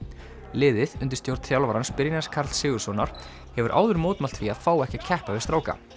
liðið undir stjórn þjálfarans Brynjars Karls Sigurðssonar hefur áður mótmælt því að fá ekki að keppa við stráka